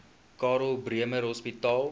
karl bremer hospitaal